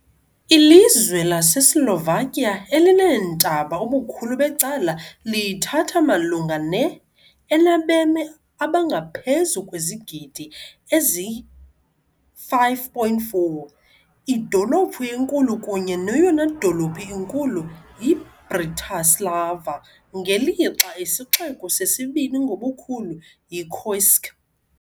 Ilizwe laseSlovakia elineentaba ubukhulu becala lithatha malunga ne, enabemi abangaphezu kwezigidi ezi-5.4. Idolophu enkulu kunye neyona dolophu inkulu yiBratislava, ngelixa isixeko sesibini ngobukhulu yiKošice.